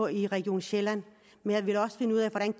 i region sjælland men jeg vil også finde ud af hvordan